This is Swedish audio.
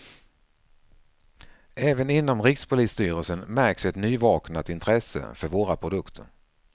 Även inom rikspolisstyrelsen märks ett nyvaknat intresse för våra produkter.